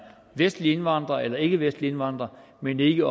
vestlig indvandrer eller ikkevestlig indvandrer men ikke